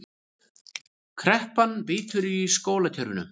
Kreppan bítur í skólakerfinu